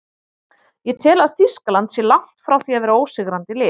Ég tel að Þýskaland sé langt frá því að vera ósigrandi lið.